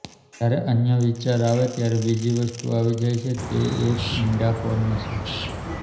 જ્યારે અન્ય વિચાર આવે ત્યારે બીજી વસ્તુ આવી જાય છે તે એક ઇંડાકોર્ન છે